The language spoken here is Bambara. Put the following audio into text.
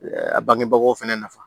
A bangebagaw fɛnɛ nafa